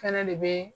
Fɛnɛ de bee